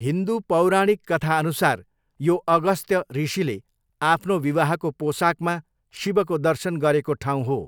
हिन्दु पौराणिक कथाअनुसार यो अगस्त्य ऋषिले आफ्नो विवाहको पोसाकमा शिवको दर्शन गरेको ठाउँ हो।